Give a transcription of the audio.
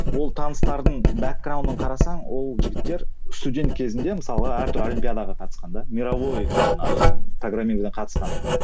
ол таныстардың қарасаң ол жігіттер студент кезінде мысалға әртүрлі олимпиадаға қатысқан да мировой жаңағы программированиеден қатысқан